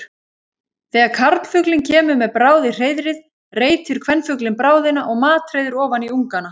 Þegar karlfuglinn kemur með bráð í hreiðrið reitir kvenfuglinn bráðina og matreiðir ofan í ungana.